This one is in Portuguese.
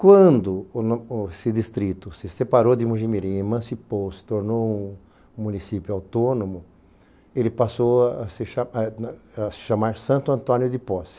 Quando o no, o esse distrito se separou de Mogimirim, emancipou, se tornou um um município autônomo, ele passou a a se cha, eh na, a se chamar Santo Antônio de Posse.